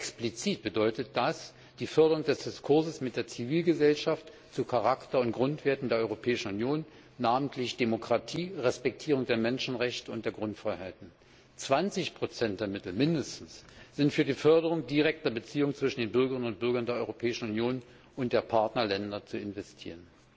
Explizit bedeutet das die Förderung des Diskurses mit der Zivilgesellschaft zu Charakter und Grundwerten der Europäischen Union, namentlich Demokratie, Respektierung der Menschenrechte und der Grundfreiheiten. Mindestens 20 der Mittel sind für die Förderung direkter Beziehungen zwischen den Bürgerinnen und Bürgern der Europäischen Union und der Partnerländer zu investieren.